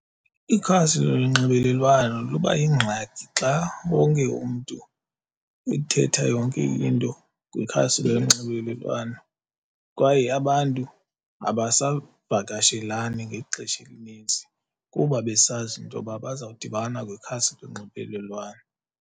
Ikhasi lonxibelelwano luba yingxaki xa wonke umntu ethetha yonke into kwikhasi lonxibelelwano kwaye abantu abasavakashelani ngexesha elinintsi kuba besazi into yoba bazawudibana kwikhasi lonxibelelwano.